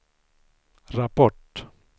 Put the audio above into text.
rapport